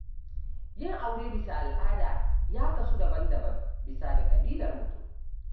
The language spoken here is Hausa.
Yin aure bisa al'ada ya kasu daban-daban bisa ga ƙabilar mutum.